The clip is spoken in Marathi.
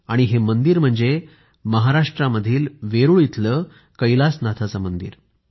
आणि हे मंदिर म्हणजे महाराष्ट्रामध्ये वेरूळ इथलं कैलासनाथाचं मंदिर आहे